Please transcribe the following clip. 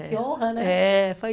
Que honra, né? É, foi